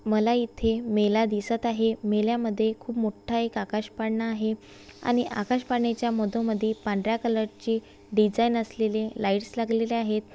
मला इथे मेला दिसत आहे मेल्यामध्ये खूप मोठ एक आकाश पाळणा आहे आणि आकाश पाळणा च्या मधोमधी पांढर्‍या कलर ची डिझाइन असलेले लाइट्स लागलेले आहेत.